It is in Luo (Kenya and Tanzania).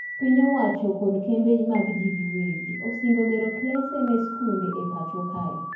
Piny owacho kod kembe mag jii gi wegi osingo gero klese ne skunde e pacho kae